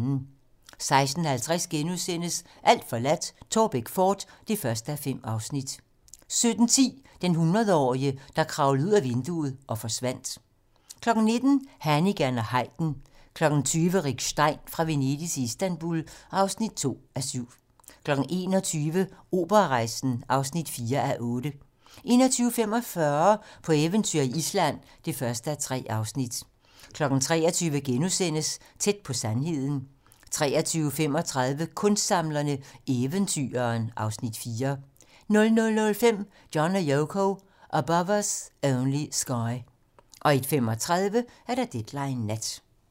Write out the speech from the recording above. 16:50: Alt forladt - Taarbæk fort (1:5)* 17:10: Den hundredårige, der kravlede ud ad vinduet og forsvandt 19:00: Hannigan & Haydn 20:00: Rick Stein: Fra Venedig til Istanbul (2:7) 21:00: Operarejsen (4:8) 21:45: På eventyr i Island (1:3) 23:00: Tæt på sandheden * 23:35: Kunstsamlerne: Eventyreren (Afs. 4) 00:05: John & Yoko - Above Us Only Sky 01:35: Deadline nat